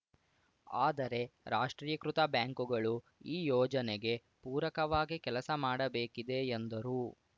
ಆದರೆ ರಾಷ್ಟ್ರೀಕೃತ ಬ್ಯಾಂಕುಗಳು ಈ ಯೋಜನೆಗೆ ಪೂರಕವಾಗಿ ಕೆಲಸ ಮಾಡಬೇಕಿದೆ ಎಂದರು